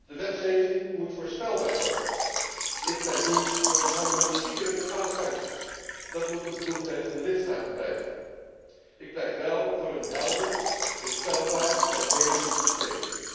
De wetgeving moet voorspelbaar worden. Ik pleit niet voor het harmoniseren van alle sancties. Dat moet een bevoegdheid van de lidstaten blijven. Ik pleit wel voor een helder, voorspelbaar en redelijk systeem.